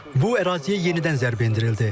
Bu əraziyə yenidən zərbə endirildi.